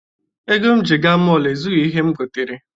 Ego m ji gaa mọọlụ ezughi ihe m gotere.